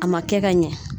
A ma kɛ ka ɲɛ